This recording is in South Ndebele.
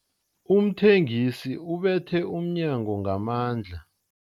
Umthengisi ubethe umnyango ngamandla.